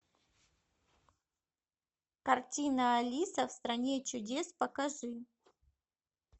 картина алиса в стране чудес покажи